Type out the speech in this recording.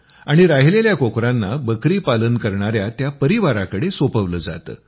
आणि राहिलेल्या कोकरांना बकरी पालन करणाया त्या परिवाराकडं सोपवलं जातं